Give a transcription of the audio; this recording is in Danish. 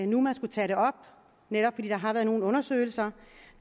nu man skulle tage det op netop fordi der har været nogle undersøgelser